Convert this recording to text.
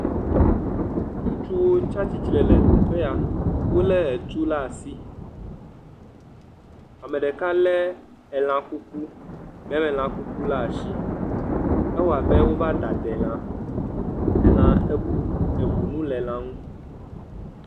Ŋutsuwo tsi atsitre le teƒe ya wolé etuwo la asi, ame ɖeka lé kuku ɖe asi, gbemelã kuku le asi, edze abe wova de ade lã, elã eku, eŋu mu le elã ŋu.